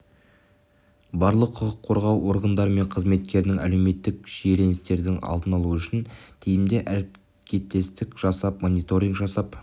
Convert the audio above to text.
барлық құқық қорғау органдары мен қызметтер әлеуметтік шиеленістердің алдын алу үшін тиімді әрекеттестік жасап мониторинг жасап